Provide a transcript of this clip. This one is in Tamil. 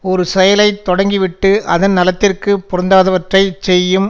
ஒரு செயலை தொடங்கி விட்டு அதன் நலத்திற்குப் பொருந்தாதவற்றைச் செய்யும்